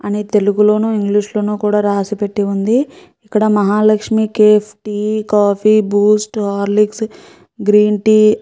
అని తెలుగులోనూ ఇంగ్లీష్ లోను కూడా రాయి పెట్టి ఉంది . ఇక్కడ Mahalakshmi cafe Horlicks Boost tea green tea --